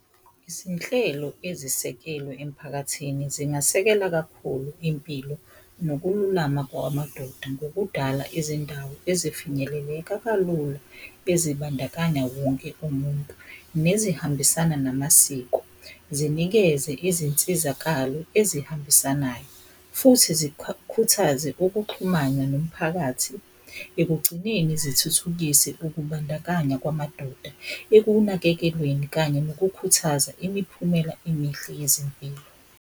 Izinhlelo ezisekelwe emphakathini zingasekela kakhulu impilo nokululama kwamadoda ngokudala izindawo ezifinyeleleka kalula ezibandakanya wonke umuntu nezihambisana namasiko. Zinikeze izinsizakalo ezihambisanayo. Futhi zikhuthaze ukuxhumana nomphakathi, ekugcineni zithuthukise ukubandakanya kwamadoda ekunakekelweni kanye nokukhuthaza imiphumela emihle yezempilo.